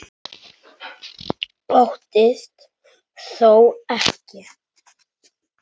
Óttist þó ekki.